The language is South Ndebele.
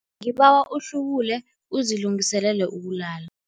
Ngibawa uhlubule uzilungiselele ukulala.